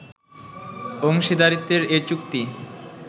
অংশীদারিত্বের এ চুক্তি